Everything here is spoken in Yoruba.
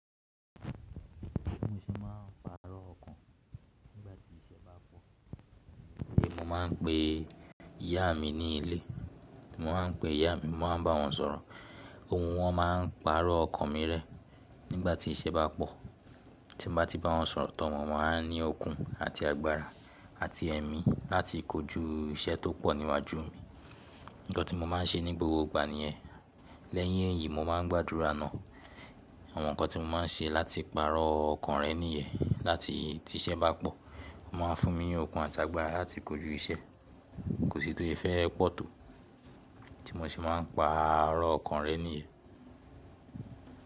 Tí mo ṣe máa ń pàrọ̀ ọkàn nígbà tí iṣẹ́ bá pọ̀. Mo máa ń pe ìyá mi ní ilé. Mo máa ń pe ìyá mi, mo máa ń bá wọn sọ̀rọ̀. Ohun wọn máa ń pàrọ̀ ọkàn mi rẹ́ nígbà tí iṣẹ́ bá pọ̀. Tí m bá ti bá wọn sọ̀rọ̀ tán, wọn aa ní okun àti agbára àti ẹ̀mí láti kojú iṣẹ́ tó pọ̀ níwájú mi. Nǹkan tí mo máa ń ṣe ní gbogbo ìgbà ni yen. Lẹ́yìn èyí, mo máa ń gbàdúrà ná. Àwọn nǹkan tí mo máa ń ṣe láti pàrọ̀ ọkàn rẹ́ nìyẹn. Láti tí iṣẹ́ bá pọ̀, wọ́n máa fún mi ní okun àti agbára láti kojú iṣẹ́. Kò sí tó ìfẹ́ pọ̀ tó tí mo sì máa ń pàrọ̀ ọkàn rẹ́ nìyẹn.